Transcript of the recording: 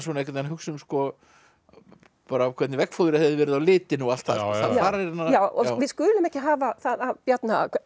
hugsa um hvernig veggfóðrið hefði verið á litinn og allt það við skulum ekki hafa það af Bjarna